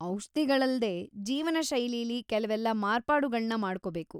ಔಷ್ಧಿಗಳಲ್ದೇ, ಜೀವನಶೈಲಿಲಿ ಕೆಲ್ವೆಲ್ಲ ಮಾರ್ಪಾಡುಗಳ್ನ ಮಾಡ್ಕೊಬೇಕು.